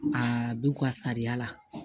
Aa b'u ka sariya la